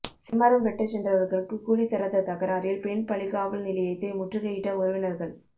செம்மரம் வெட்டச் சென்றவா்களுக்கு கூலி தராத தகராறில் பெண் பலிகாவல் நிலையத்தை முற்றுகையிட்ட உறவினா்கள்